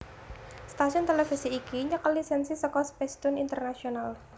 Stasiun televisi iki nyekel lisensi saka Spacetoon International